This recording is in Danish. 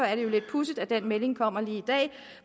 er det jo lidt pudsigt at den melding kommer lige i dag